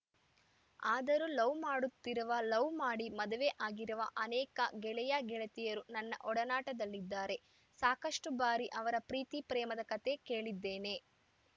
ಆದರೂ ಲವ್‌ ಮಾಡುತ್ತಿರುವ ಲವ್‌ ಮಾಡಿ ಮದುವೆ ಆಗಿರುವ ಅನೇಕ ಗೆಳೆಯಗೆಳತಿಯರು ನನ್ನ ಒಡನಾಟದಲ್ಲಿದ್ದಾರೆ ಸಾಕಷ್ಟುಬಾರಿ ಅವರ ಪ್ರೀತಿಪ್ರೇಮದ ಕತೆ ಕೇಳಿದ್ದೇನೆ